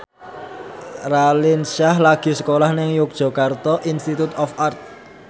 Raline Shah lagi sekolah nang Yogyakarta Institute of Art